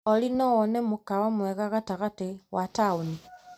Olĩ no wone mũkawa mwega gatagate wa taũni .